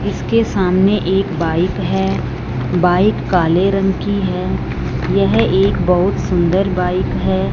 इसके सामने एक बाइक है बाइक काले रंग की है यह एक बहुत सुंदर बाइक है।